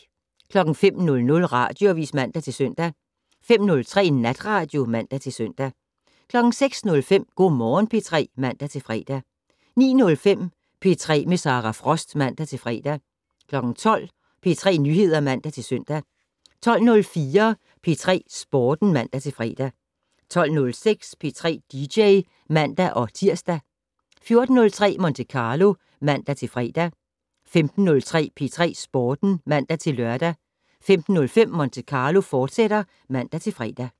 05:00: Radioavis (man-søn) 05:03: Natradio (man-søn) 06:05: Go' Morgen P3 (man-fre) 09:05: P3 med Sara Frost (man-fre) 12:00: P3 Nyheder (man-søn) 12:04: P3 Sporten (man-fre) 12:06: P3 dj (man-tir) 14:03: Monte Carlo (man-fre) 15:03: P3 Sporten (man-lør) 15:05: Monte Carlo, fortsat (man-fre)